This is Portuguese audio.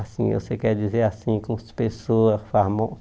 Assim, você quer dizer assim com as pessoas